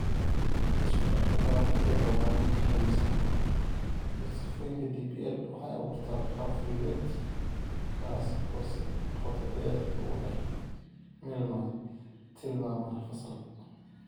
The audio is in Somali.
Isku darka qalabka ee barbaarinta habaysan iyo sifooyinka DPL waxay abuurtaa qaab fulineed kaas oo si qoto dheer ugu dhex milmay tilmaamaha fasalka.